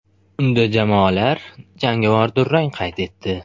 Unda jamoalar jangovar durang qayd etdi.